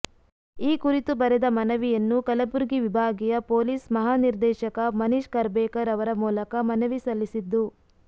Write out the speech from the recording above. ಈ ಕುರಿತು ಬರೆದ ಮನವಿಯನ್ನು ಕಲಬುರ್ಗಿ ವಿಭಾಗಿಯ ಪೊಲೀಸ್ ಮಹಾನಿರ್ದೇಶಕ ಮನೀಷ್ ಖರ್ಬೇಕರ್ ಅವರ ಮೂಲಕ ಮನವಿ ಸಲ್ಲಿಸಿದ್ದು